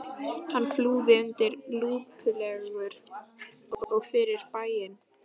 Hann flúði undir eins lúpulegur upp fyrir bæinn.